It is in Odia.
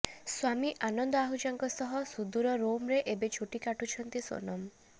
ସ୍ବାମୀ ଆନନ୍ଦ ଆହୁଜାଙ୍କ ସହ ସୁଦୂର ରୋମରେ ଏବେ ଛୁଟି କାଟୁଛନ୍ତି ସୋନମ